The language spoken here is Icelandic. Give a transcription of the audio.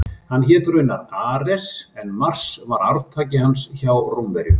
Hann hét raunar Ares en Mars var arftaki hans hjá Rómverjum.